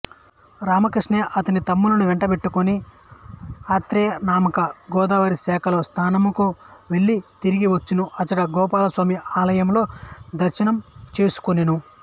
రామకృష్ణయ్య అతని తమ్ములను వెంటబెట్టుకొని ఆత్రేయీనామక గోదావరీశాఖలో స్నానమునకు వెళ్ళి తిరిగి వచ్చుచు అచట గోపాలస్వామి ఆలయంలో దర్శనం చేసుకొనెను